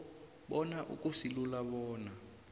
bona akusilula bona